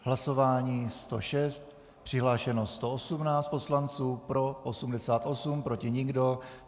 Hlasování 106, přihlášeno 118 poslanců, pro 88, proti nikdo.